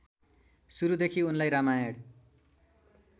सुरूदेखि उनलाई रामायण